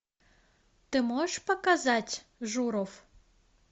ты можешь показать журов